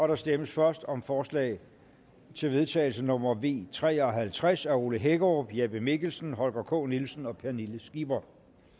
der stemmes først om forslag til vedtagelse nummer v tre og halvtreds af ole hækkerup jeppe mikkelsen holger k nielsen og pernille skipper